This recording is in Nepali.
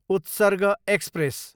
उत्सर्ग एक्सप्रेस